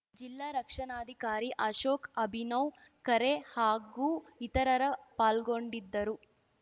ಜಿಲ್ಲಾ ರಕ್ಷಣಾಧಿಕಾರಿ ಅಶೋಕ್‌ ಅಭಿನವ್‌ ಖರೆ ಹಾಗೂ ಇತರರ ಪಾಲ್ಗೊಂಡಿದ್ದರು